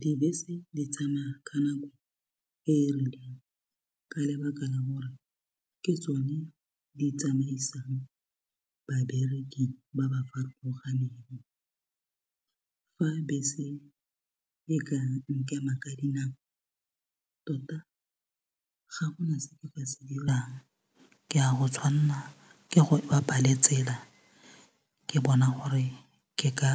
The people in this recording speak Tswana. Dibese di tsamaya ka nako e e rileng ka lebaka la hore ke tsone di tsamaisang babereki ba ba farologaneng fa bese e ka nkema ka dinao tota ga gona se nka se dirang ke a go tshwanela ke go bapa le tsela ke bona gore ke ka